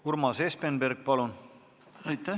Urmas Espenberg, palun!